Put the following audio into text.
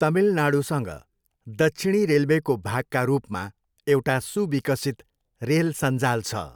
तमिलनाडूसँग दक्षिणी रेलवेको भागका रूपमा एउटा सुविकसित रेल सञ्जाल छ।